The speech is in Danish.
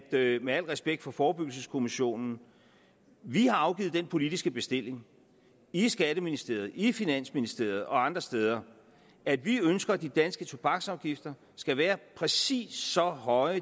med med al respekt for forebyggelseskommissionen at vi har afgivet den politiske bestilling i skatteministeriet i finansministeriet og andre steder at vi ønsker at de danske tobaksafgifter skal være præcis så høje